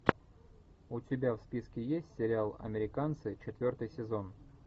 у тебя в списке есть сериал американцы четвертый сезон